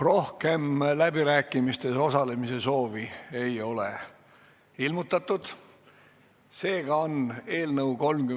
Rohkem läbirääkimistel osalemise soovi ei ole ilmutatud, seega on eelnõu 31 esimene lugemine lõpetatud.